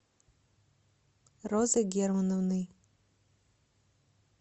розой германовной